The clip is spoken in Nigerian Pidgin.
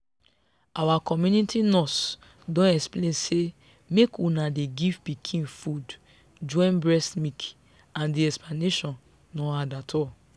our community nurse don explain say make una dey give pikin food join breast milk and the explanation no hard at all.